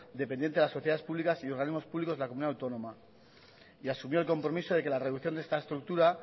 dependiente de las sociedades públicas y organismos públicos de la comunidad autónoma y asumió el compromiso de que la reducción de esta estructura